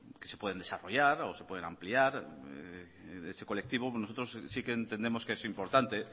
que se pueden desarrollar o se pueden ampliar ese colectivo nosotros sí que entendemos que es importante